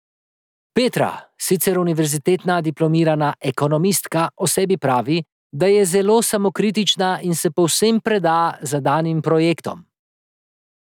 Petra, sicer univerzitetna diplomirana ekonomistka, o sebi pravi, da je zelo samokritična in se povsem preda zadanim projektom.